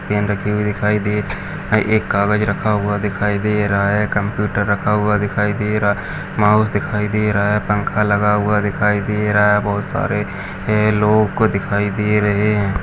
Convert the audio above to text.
Pen रखी हुई दिखाई दे है एक कागज़ रखा हुआ दिखाई दे रहा है कंप्यूटर रखा हुआ दिखाई दे रहा है माउस दिखाई दे रहा है पंखा लगा हुआ दिखाई दे रहा है बहुत सारे ए लोग दिखाई दे रहे है।